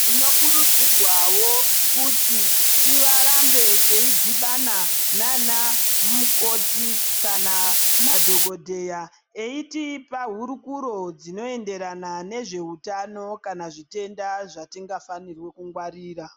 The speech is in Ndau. Tinokurudzirwavo kuti tirambe teidhibana nana mukoti kana madhogodheya. Eitipa hurukuro dzinoenderana nezveutano kana zvitenda zvatinga fanirwe kungwarira.